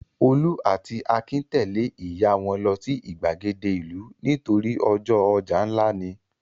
Olú ató Akin tẹ̀lé ìyá wọn lọ sí ìgbàgede ìlú nítorí ọjọ́ ọjà ńlá ni.